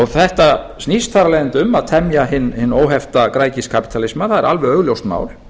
þetta snýst þar af leiðandi um að temja hinn óhefta græðgiskapítalisma það er alveg augljóst mál